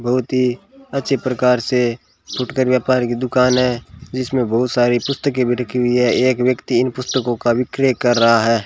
बहुत ही अच्छे प्रकार से फुटकर व्यापार की दुकान है जिसमें बहुत सारी पुस्तके भी रखी हुई है एक व्यक्ति इन पुस्तकों का विक्रय कर रहा है।